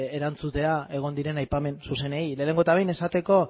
erantzutea egon diren aipamen zuzenei lehenengo eta behin esateko